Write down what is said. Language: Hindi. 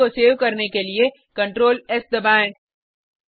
फाइल को सेव करने के लिए Ctrl एस दबाएँ